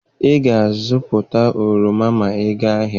Ị ga-azụta oroma ma ị gaa ahịa!